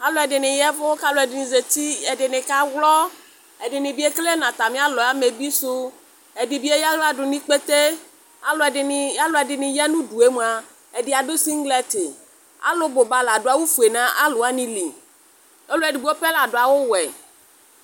Alʋ ɛdɩnɩ yaɛvʋ kɛdɩnɩ zati, ɛdɩnɩ ka wlɔɔ, ɛdɩnɩ bɩ vlɛ natamɩ alɔɛ amebi sʋ,ɛdɩ bɩ eyǝ aɣla dʋ n' ikpete, alʋ ɛdɩnɩ alʋ ɛdɩnɩ ya nʋ udue mʋa, ɛdɩ adʋ singlɛtɩ Alʋ bʋ ba ladʋ awʋ fue nalʋ wanɩ li, ɔlʋ edigbo pɛ ladʋ awʋ wɛ